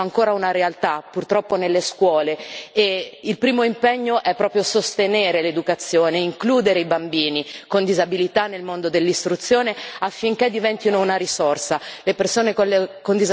Le barriere architettoniche sono ancora una realtà, purtroppo, nelle scuole e il primo impegno è proprio sostenere l'educazione, includere i bambini con disabilità nel mondo dell'istruzione affinché diventino una risorsa.